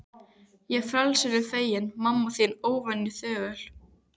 Ég frelsinu feginn, mamma þín óvenju þögul.